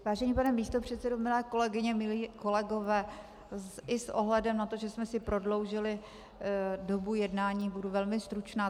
Vážený pane místopředsedo, milé kolegyně, milí kolegové, i s ohledem na to, že jsme si prodloužili dobu jednání, budu velmi stručná.